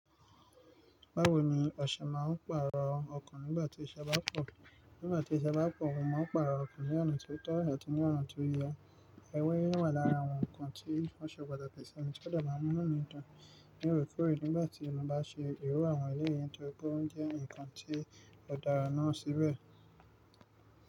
Báwo ni ọṣẹ máa ń pààrò ọkàn nígbà tí ìṣẹ bá pọ̀? Nígbà tí ìṣẹ bá pọ̀, mo máa ń pààrò ọkàn ní ọ̀nà tí ó tọ́ àti ní ọ̀nà tí ó yẹ. Ẹwẹ́ yẹ́n wà lára àwọn nǹkan tí ó ṣe pàtàkì sí ẹni tó dẹ̀ máa munu mi dun loorekòórẹ́ nígbà tí ọ̀nà bá ṣe ìró àwọn eléyìn tóri pe won jẹ́ nǹkan tí ó dá ara náà síbẹ̀